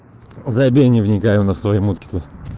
забей не вникай у нас свои мутки тут